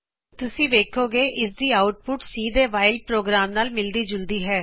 ਤੁਸੀ ਵੇਖੋਗੇ ਕਿ ਇਸ ਦੀ ਆਉਟਪੁਟ C ਦੇ ਵਾਇਲ ਪ੍ਰੋਗਰਾਮ ਨਾਲ ਮਿਲਦੀ ਜੁਲਦੀ ਹੈ